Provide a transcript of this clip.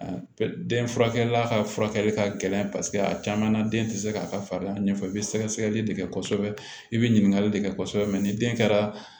Den furakɛla ka furakɛli ka gɛlɛn paseke a caman na den tɛ se k'a ka fariya ɲɛfɔ i bɛ sɛgɛsɛgɛli de kɛ kosɛbɛ i bɛ ɲininkali de kɛ kosɛbɛ ni den kɛra